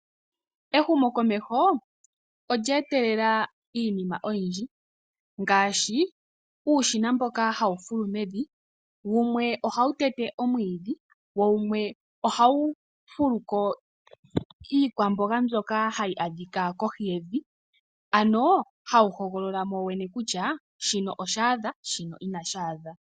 Ehumo komeho olye etelela iinima oyindji ngaashi, uushina mboka ha wu fulu mevi ,wumwe ohawu tete omwiidhi , wo wumwe ohawu fuluko iikwamboga mbyoka hayi adhika kohi yevi, ano ha wu hogolola mo wo wene kutya shino oshaadha ,shino ina shaadha .